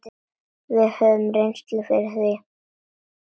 Við höfum reynslu fyrir því.